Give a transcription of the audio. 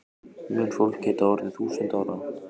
Mun fólk geta orðið þúsund ára?